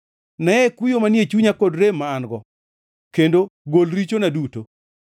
Neye kuyo manie chunya kod rem ma an-go, kendo gol richona duto.